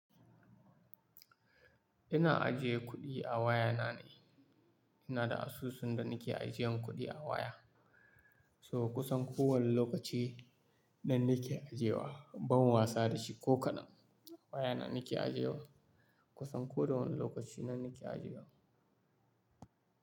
Ina ajiye kuɗi a waya na ne, ina da asusun da nake ajiyan kuɗi a waya. So kusan kowane lokaci nan nake ajewa, ban wasa da shi ko kaɗan. Waya na nake ajiye wa, kusan ko da wane lokaci nan nake aje wa.